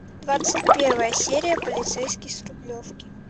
двадцать первая серия полицейский с рублевки